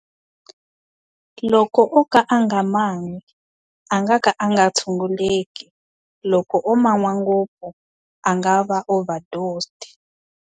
Loko o ka a nga ma nwi, a nga ka a nga tshunguleki. Loko o ma nwa ngopfu, a nga va overdosed.